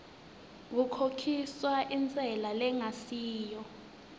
kukhokhiswa intsela lengasiyo